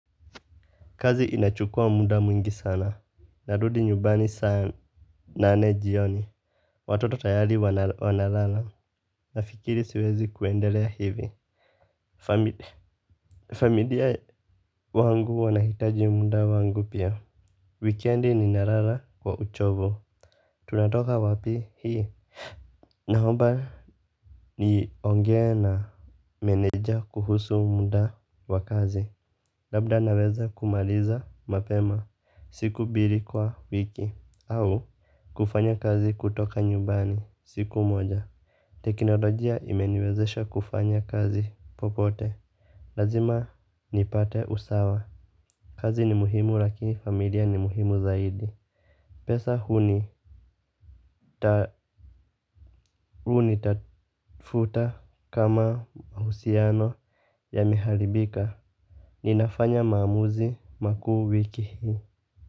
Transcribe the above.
Kazi inachukua muda mwingi sana. Narudi nyumbani saa nane jioni. Watoto tayari wanalala. Nafikiri siwezi kuendelea hivi. Familia familia wangu wanahitaji muda wangu pia. Wikendi ni nalala kwa uchovu. Tunatoka wapi hii. Naomba niongee na meneja kuhusu muda wakazi. Labda naweza kumaliza mapema. Siku mbili kwa wiki au kufanya kazi kutoka nyumbani siku moja. Teknolojia imeniwezesha kufanya kazi popote. Lazima nipate usawa. Kazi ni muhimu lakini familia ni muhimu zaidi. Pesa hunitafuta kama uhusiano yameharibika. Ninafanya maamuzi makuu wiki hii.